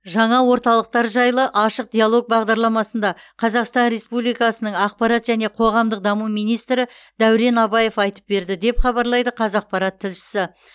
жаңа орталықтар жайлы ашық диалог бағдарламасында қазақстан республикасының ақпарат және қоғамдық даму министрі дәурен абаев айтып берді деп хабарлайды қазақпарат тілшісі